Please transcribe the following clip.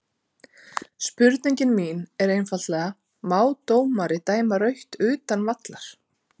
Spurningin mín er einfaldlega má dómari dæma rautt utan vallar?